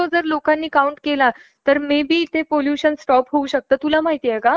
खगोलशास्त्रीय घटना विचारात घेतल्या, तर महाभारताचा काळ सुमारे इसवी सन दोन हजार इतका मागे जाऊ शकतो.